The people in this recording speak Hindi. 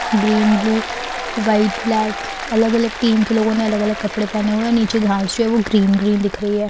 ब्लू व्हाइट ब्लेक अलग अलग टीम के लोगों ने अलग अलग कपड़े पहने हुए है और नीचे घास जो है वो ग्रीन ग्रीन दिख रही है।